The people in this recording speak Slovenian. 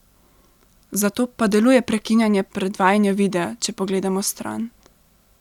Zato pa deluje prekinjanje predvajanja videa, če pogledamo stran.